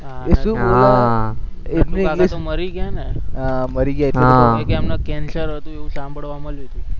એ શું બોલ્યા, નટુકાકા તો મરી ગયા ને હા મરી ગયા એટલે એમને cancer હતું એવું સાંભળવા મળ્યું હતું.